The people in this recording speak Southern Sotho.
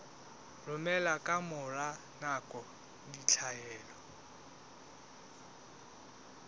romela ka mora nako ditlaleho